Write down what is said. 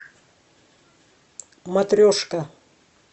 матрешка